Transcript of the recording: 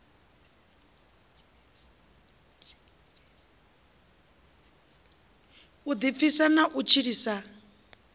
u ḓipfisa na u tshilisa